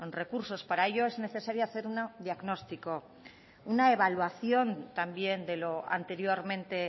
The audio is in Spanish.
recursos para ello es necesario hacer un diagnóstico una evaluación también de lo anteriormente